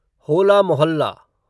होला मोहल्ला